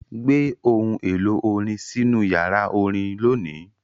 Gbé ohun èlò orin sínú yàrá orin lónìí!